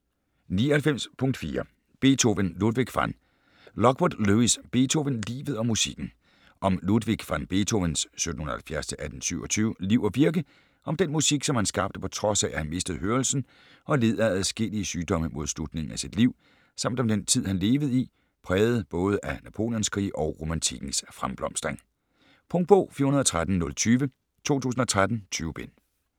99.4 Beethoven, Ludwig van Lockwood, Lewis: Beethoven: livet og musikken Om Ludwig van Beethovens (1770-1827) liv og virke, om den musik, som han skabte på trods af at han mistede hørelsen og led af adskillige sygdomme mod slutningen af sit liv, samt om den tid han levede i, præget både af Napoleonskrige og romantikkens fremblomstring. Punktbog 413020 2013. 20 bind.